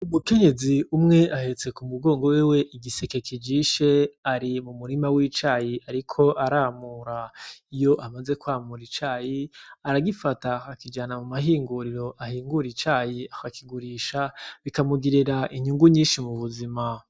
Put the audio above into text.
Umukenyezi umwe ahetse k'umugongo wiwe igiseke kijishe ari mumurima w'icayi ariko aramura iyo amaze kwamura icayi aragifata akakijana mumahinguriro ahingura icayi aka kigurisha bikamugirira inyungu nyishi m'ubuzima